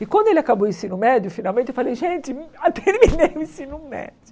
E quando ele acabou o ensino médio, finalmente, eu falei, gente, ah terminei o ensino médio.